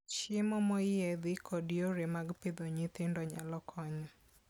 Chiemo moyiedhi kod yore mag pidho nyithindo nyalo konyo.